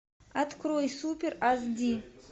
открой супер аш ди